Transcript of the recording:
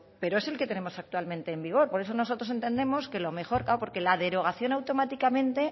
pero es el que tenemos actualmente en vigor por eso nosotros entendemos que lo mejor claro porque la derogación automáticamente